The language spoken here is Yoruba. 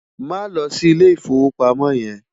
Má lò si Ilé Ifówópámò yèn mò